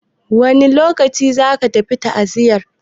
Wane lokaci za ka tafi ta'aziyan?